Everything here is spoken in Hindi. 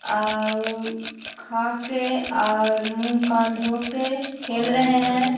आ ऊ-ऊ खा के और मुँह कान धो के खेल रहे हैं ।